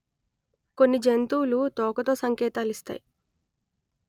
కొన్ని జంతువులు తోకతో సంకేతాలిస్తాయి